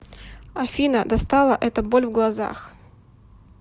афина достала эта боль в глазах